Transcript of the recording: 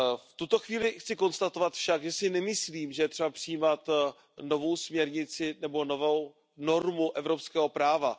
V tuto chvíli však chci konstatovat, že si nemyslím, že je třeba přijímat novou směrnici nebo novou normu evropského práva.